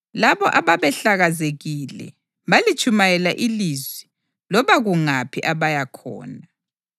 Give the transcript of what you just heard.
Labo ababehlakazekile balitshumayela ilizwi loba kungaphi abaya khona.